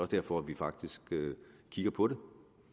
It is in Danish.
derfor at vi faktisk kigger på